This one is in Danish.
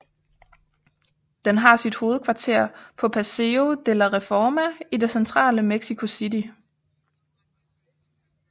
Den har sit hovedkvarter på Paseo de la Reforma i det centrale Mexico City